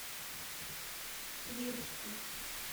свирску